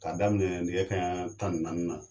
K'a daminɛ nɛgɛ kanɲa tan ni naani na